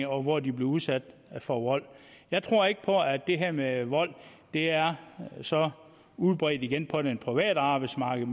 og hvor de bliver udsat for vold jeg tror ikke på at det her med vold er så udbredt igen på det private arbejdsmarked